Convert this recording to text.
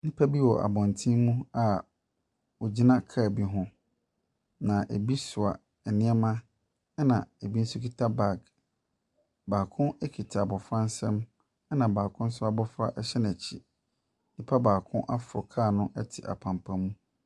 Nipa bi wɔ abɔnten mu a ɔgyina car bi ho na ebi soa nnoɔma ɛna ebi nso ekuta bag. Baako ekuta abofra nsam ɛna baako nso abofra hyɛ n'akyi. Nnipa baako aforo car no ɛte apampam mu.